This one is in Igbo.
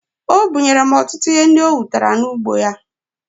O bunyere m ọtụtụ ihe ndị o wutara n'ugbo ya